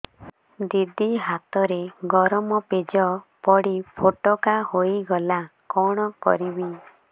ଦିଦି ହାତରେ ଗରମ ପେଜ ପଡି ଫୋଟକା ହୋଇଗଲା କଣ କରିବି